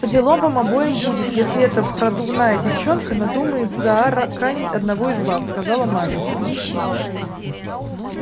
поделом вам обоим будет если эта продувная девчонка надумает заарканить одного из вас сказала маменька